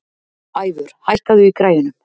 Ævör, hækkaðu í græjunum.